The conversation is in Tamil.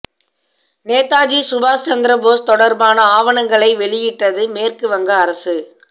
நேதாஜி சுபாஷ் சந்திரபோஸ் தொடர்பான ஆவணங்களை வெளியிட்டது மேற்கு வங்க அரசு